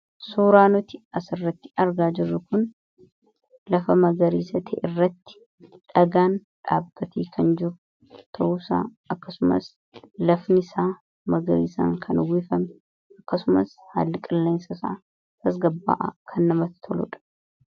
Suuraa nuti asirratti argaa jirru kun lafa magariisa ta'erratti dhagaan dhaabbatee kan jiru ta'uusaa akkasumas lafnisaa magariisaan kan uwwifame akkasumas haalli qilleensa isaa tasgabbaa'aa kan namatti tolu dha.